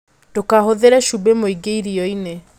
Ndũkahũthĩre cubĩ mwĩingĩ irioinĩ